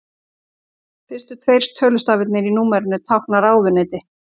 Fyrstu tveir tölustafirnir í númerinu tákna ráðuneyti.